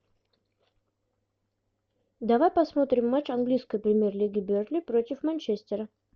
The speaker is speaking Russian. давай посмотрим матч английской премьер лиги бернли против манчестера